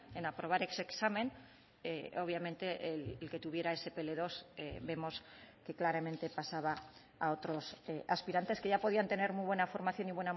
en aprobar ese examen obviamente el que tuviera ese pe ele dos vemos que claramente pasaba a otros aspirantes que ya podían tener muy buena formación y